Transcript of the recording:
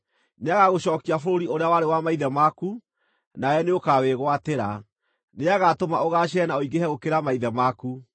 Nĩagagũcookia bũrũri ũrĩa warĩ wa maithe maku, na we nĩũkawĩgwatĩra. Nĩagatũma ũgaacĩre na ũingĩhe gũkĩra maithe maku.